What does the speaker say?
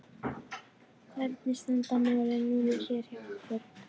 Hvernig standa málin núna hér hjá okkur?